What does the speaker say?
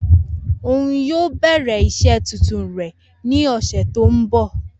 Oun yoo bẹrẹ iṣẹ tuntun rẹ ni oṣu ti n bọ.